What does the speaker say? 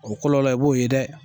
O kɔlɔlɔ i b'o ye dɛ!